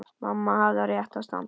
Mamma hafði á réttu að standa.